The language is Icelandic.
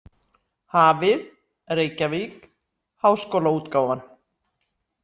Hafið, Reykjavík: Háskólaútgáfan.